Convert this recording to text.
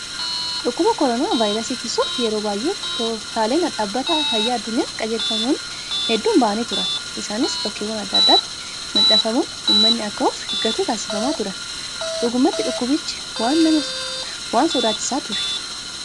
Dhukkuba koronaa vaayirasii ittisuuf yeroo baay'ee tooftaaleen dhaabbata fayyaa addunyaan qajeelfamoonni hedduun bahanii turan. Isaanis bakkeewwan adda addaatti maxxanfamuun uummanni akka of eeggatu taasifamaa turan. Dhugumatti dhukkubichi waan sodaachisaa ture.